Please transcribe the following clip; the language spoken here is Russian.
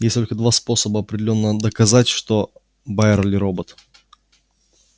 есть только два способа определённо доказать что байерли робот